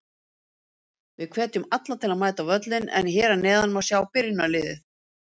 Við hvetjum alla til að mæta á völlinn en hér að neðan má sjá byrjunarliðið.